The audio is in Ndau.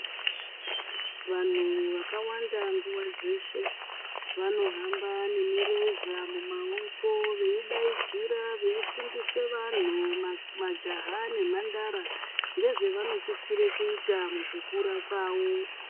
Vanhu vakawanda nguva dzeshe vanohamba nemireza mumaoko veidaidzira veifundisa vanhu majaya nemhandara ngezvavanosisisra kuita mukukura mavo .